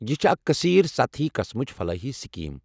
یہ چھےٚ اکھ كثیر سطحی قٕسمچ فلاحی سکیٖم۔